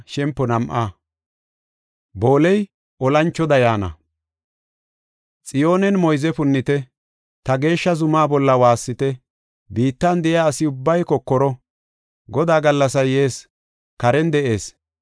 Xiyoonen moyze punnite; ta geeshsha zumaa bolla waassite. Biittan de7iya asi ubbay kokoro; Godaa gallasay yees; karen de7ees.